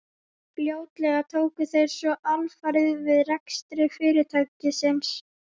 Fljótlega tóku þeir svo alfarið við rekstri fyrirtækisins.